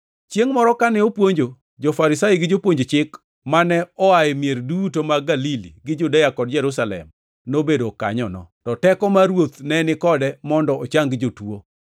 Chiengʼ moro kane opuonjo, jo-Farisai gi jopuonj chik, mane oa e mier duto mag Galili gi Judea kod Jerusalem, nobedo kanyono, to teko mar Ruoth ne ni kode mondo ochang jotuo.